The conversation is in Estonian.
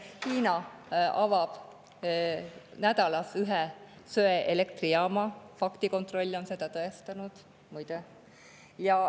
Hiina avab nädalas ühe söeelektrijaama, faktikontroll on seda tõestanud, muide.